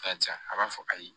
Karisa a b'a fɔ ayi